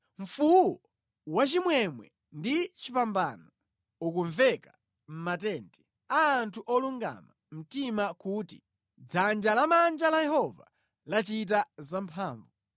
Mfuwu wachimwemwe ndi chipambano ukumveka mʼmatenti a anthu olungama mtima kuti: “Dzanja lamanja la Yehova lachita zamphamvu!